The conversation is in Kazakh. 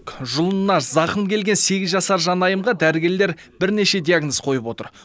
жұлынына зақым келген сегіз жасар жанайымға дәрігерлер бірнеше диагноз қойып отыр